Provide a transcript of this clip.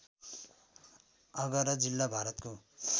आगरा जिल्ला भारतको